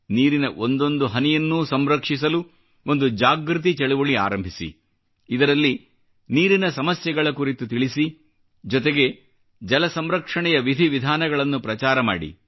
ನೀರಿನ ಒಂದೊಂದು ಹನಿಯನ್ನೂ ಸಂರಕ್ಷಿಸಲು ಒಂದು ಜಾಗೃತಿ ಚಳುವಳಿ ಆರಂಭಿಸಿ ಇದರಲ್ಲಿ ನೀರಿನ ಸಮಸ್ಯೆಗಳ ಕುರಿತು ತಿಳಿಸಿ ಜೊತೆಗೆ ಜಲ ಸಂರಕ್ಷಣೆಯ ವಿಧಿ ವಿಧಾನಗಳನ್ನು ಪ್ರಚಾರ ಮಾಡಿ